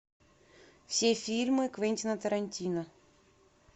все фильмы квентина тарантино